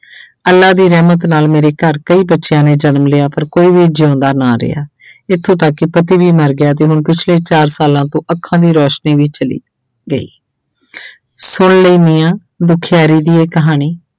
ਅੱਲਾ ਦੀ ਰਹਿਮਤ ਨਾਲ ਮੇਰੇ ਘਰ ਕਈ ਬੱਚਿਆਂ ਨੇ ਜਨਮ ਲਿਆ ਪਰ ਕੋਈ ਵੀ ਜਿਉਂਦਾ ਨਾ ਰਿਹਾ ਇੱਥੋਂ ਤੱਕ ਕਿ ਪਤੀ ਵੀ ਮਰ ਗਿਆ ਤੇ ਹੁਣ ਪਿੱਛਲੇ ਚਾਰ ਸਾਲਾਂ ਤੋਂ ਅੱਖਾਂ ਦੀ ਰੌਸ਼ਨੀ ਵੀ ਚਲੀ ਗਈ ਸੁਣ ਲਈ ਮੀਆਂ ਦੁਖਿਆਰੀ ਦੀ ਇਹ ਕਹਾਣੀ।